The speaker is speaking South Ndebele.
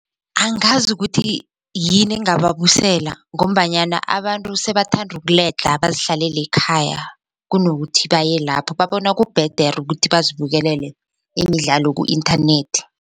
Angazi ukuthi yini engababusela ngombanyana abantu sebathanda ukuledlha bazihlalele ekhaya kunokuthi baye lapho babona kubhedere ukuthi bazibukela imidlalo ku-inthanethi.